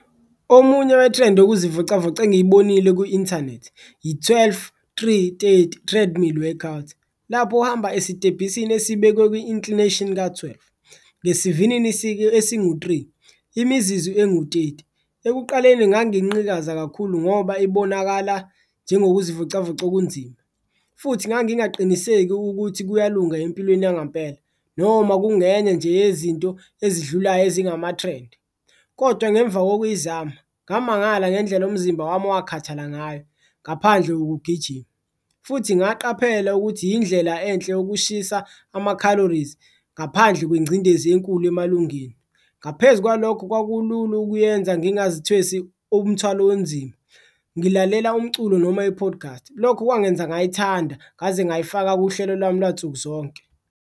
Omunye wethrendi yokuzivocavoca engiyibonile ku-inthanethi, i-twelve-three-thirty treadmill workout, lapho ohamba esitebhisini esibekwe kwi-inclination ka-twelve, ngesivinini esingu-three, imizizu engu-thirty. Ekuqaleni nganginqikaza kakhulu ngoba ibonakala njengokuzivocavoca okunzima futhi ngangingaqinisekami ukuthi kuyalunga empilweni yangempela, noma kungenye nje yezinto ezidlulayo ezingamathrendi. Kodwa ngemva kokuyizama ngamangala ngendlela, umzimba wami wakhathala ngayo ngaphandle kokugijima, futhi ngaqaphela ukuthi indlela enhle yokushisa ama-calories ngaphandle kwengcindezi enkulu emalungeni. Ngaphezu kwalokho, kwakulula ukuyenza, ngingazithwesi umthwalo onzima, ngilalela umculo noma i-podcast, lokho kwangenza ngayithanda ngaze ngayifaka kuhlelo lwami lwansuku zonke.